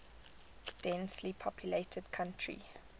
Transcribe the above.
densely populated country